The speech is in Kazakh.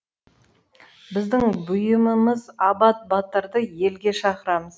біздің бұйымымыз абат батырды елге шақырамыз